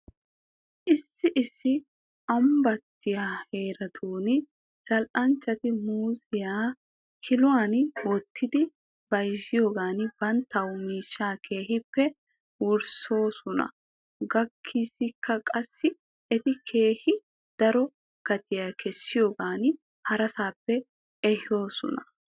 Issi issi ambbattiyaa heeratuura zal'anchchati muuziyaa kiluwan wottidi bayzziyoogan banttaw miishshaa keehippe worissoosona gaasiykka qassi eti keehi daro gatiyaa kessiyoogan harasaappe ehissoosona.